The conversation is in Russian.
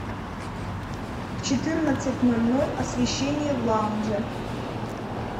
в четырнадцать ноль ноль освещение в лаунже